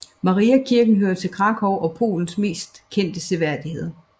Mariakirken hører til Kraków og Polens mest kendte seværdigheder